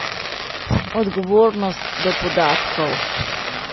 Odgovornost do podatkov.